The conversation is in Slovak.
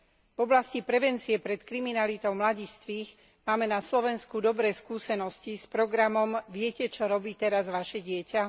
V oblasti prevencie pred kriminalitou mladistvých máme na Slovensku dobré skúsenosti s programom Viete, čo robí teraz vaše dieťa?.